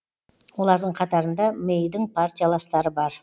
олардың қатарында мэйдің партияластары бар